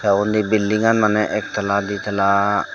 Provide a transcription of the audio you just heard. undi bildingan maneh ektala ditala.